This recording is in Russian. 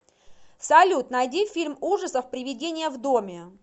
салют найди фильм ужасов привидение в доме